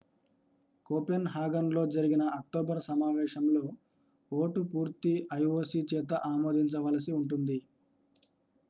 కోపెన్హాగన్లో జరిగిన అక్టోబర్ సమావేశంలో ఓటు పూర్తి ioc చేత ఆమోదించవలసి ఉంది